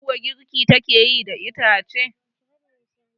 Meri kuwa girki take yi da ita ce